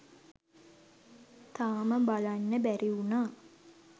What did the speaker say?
තාම බලන්න බැරි වුනා